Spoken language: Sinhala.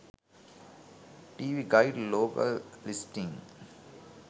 tv guide local listings